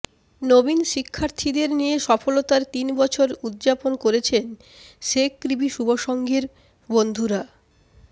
নবীন শিক্ষার্থীদের নিয়ে সফলতার তিন বছর উদ্যাপন করেছেন শেকৃবি শুভসংঘের বন্ধুরা